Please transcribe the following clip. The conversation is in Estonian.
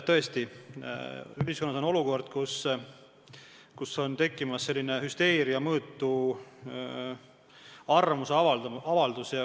Tõesti, ühiskonnas kostab hüsteeria mõõtu arvamusavaldusi.